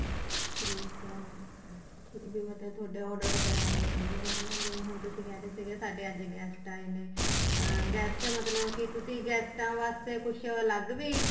ਠੀਕ ਆ ਵੀ ਮਤਲਬ ਤੁਹਾਡਾ order ਵਗੈਰਾ ਆਉਦੇ ਰਹਿੰਦੇ ਨੇ ਹੈਨਾ ਜਿਵੇਂ ਹੁਣ ਤੁਸੀਂ ਕਹਿ ਰਹੇ ਸੀ ਸਾਡੇ ਅੱਜ guest ਆਏ ਨੇ ਅਹ guest ਮਤਲਬ ਕੀ ਤੁਸੀਂ ਗੈਸਟਾ ਵਾਸਤੇ ਕੁੱਛ ਅਲੱਗ ਵੀ